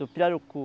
Do pirarucu.